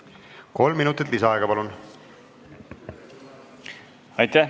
Kolm minutit lisaaega, palun!